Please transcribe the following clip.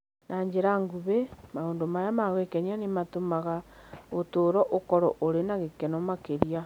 Na njĩra nguhĩ, maũndũ maya ma gwĩkenia nĩ matũmaga ũtũũro ũkorũo ũrĩ na gĩkeno makĩria.